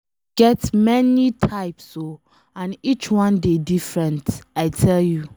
Love get many types oo and each one dey different, I tell you